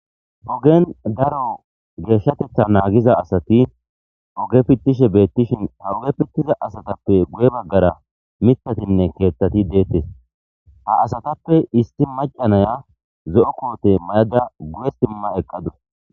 ogen daro geeshshatetha naagiza asati oge pittishe beettishin ha uge pittiza asatappe guye baggara mitatinne keethtati deettes ha asatappe isti macanaya zo7o koote mayada guye stimma eqqadus